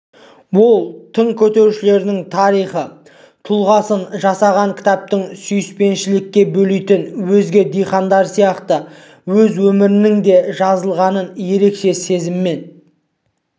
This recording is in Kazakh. ол тың көтерушілердің тарихи тұлғасын жасаған кітаптың сүйіспеншілікке бөлейтінін өзге дихандар сияқты өз өмірінің де жазылғанын ерекше сезіммен